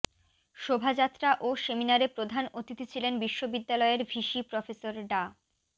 শোভাযাত্রা ও সেমিনারে প্রধান অতিথি ছিলেন বিশ্ববিদ্যালয়ের ভিসি প্রফেসর ডা